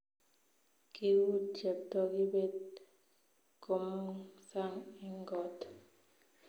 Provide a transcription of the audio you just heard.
Kiguur Cheptoo kibet komong sang eng koot